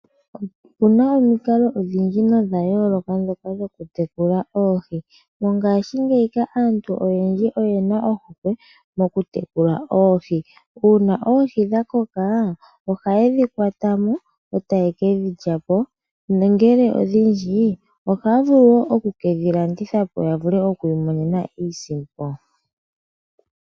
Opuna omikalo odhindji nodha yooloka ndhoka dhoku tekula oohi. Mongaashingeyi aantu oyendji oyena ohokwe moku tekula oohi. Uuna oohi dha koka ohaye dhi kwata mo etaye kedhi lyapo nongele odhindji dhimwe ohaye dhi landitha po opo ya vule okwiimonena iisimpo.